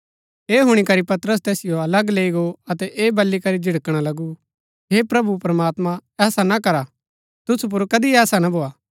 ऐह हुणी करी पतरस तैसिओ अलग लैई गो अतै ऐह बली करी झिड़कणा लगु हे प्रभु प्रमात्मां ऐसा ना करा तुसु पुर कदी ऐसा ना भोआ